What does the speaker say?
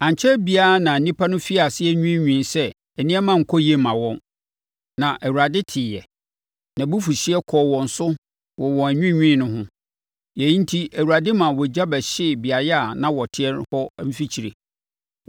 Ankyɛre biara na nnipa no firii aseɛ nwiinwii sɛ nneɛma nkɔ yie mma wɔn, na Awurade teeɛ. Nʼabufuhyeɛ kɔɔ wɔn so wɔ wɔn anwiinwii no ho. Yei enti, Awurade maa ogya bɛhyee beaeɛ a na wɔte hɔ no mfikyire.